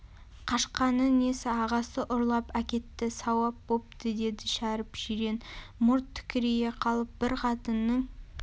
қашқаны несі ағасы ұрлап әкетті сауап бопты деді шәріп жирен мұрт тікірейе қалып бір қатынның